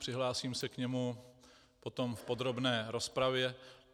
Přihlásím se k němu potom v podrobné rozpravě.